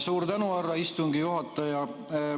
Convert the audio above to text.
Suur tänu, härra istungi juhataja!